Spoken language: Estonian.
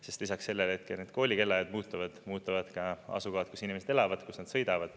Sest lisaks sellele, et kooli kellaajad muutuvad, muutuvad ka asukohad, kus inimesed elavad, kus nad sõidavad.